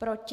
Proti?